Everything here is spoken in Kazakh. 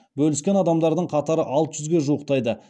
бөліскен адамдардың қатары алты жүзге жуықтайды